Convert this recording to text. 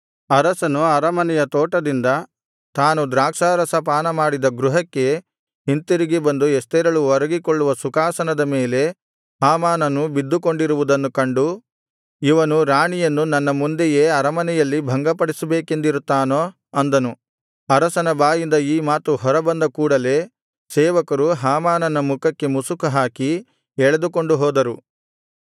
ಅರಸನು ಅರಮನೆಯ ತೋಟದಿಂದ ತಾನು ದ್ರಾಕ್ಷಾರಸ ಪಾನಮಾಡಿದ ಗೃಹಕ್ಕೆ ಹಿಂತಿರುಗಿ ಬಂದು ಎಸ್ತೇರಳು ಒರಗಿಕೊಳ್ಳುವ ಸುಖಾಸನದ ಮೇಲೆ ಹಾಮಾನನು ಬಿದ್ದುಕೊಂಡಿರುವುದನ್ನು ಕಂಡು ಇವನು ರಾಣಿಯನ್ನು ನನ್ನ ಮುಂದೆಯೇ ಅರಮನೆಯಲ್ಲಿ ಭಂಗಪಡಿಸಬೇಕೆಂದಿರುತ್ತಾನೋ ಅಂದನು ಅರಸನ ಬಾಯಿಂದ ಈ ಮಾತು ಹೊರಬಂದ ಕೂಡಲೆ ಸೇವಕರು ಹಾಮಾನನ ಮುಖಕ್ಕೆ ಮುಸುಕು ಹಾಕಿ ಎಳೆದುಕೊಂಡು ಹೋದರು